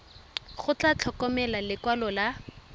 go tla tlhokega lekwalo la